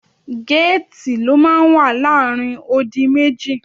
Géètì ló máa ń wà láàrin odi méjì.